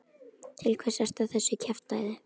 Til hvers ertu að þessu kjaftæði?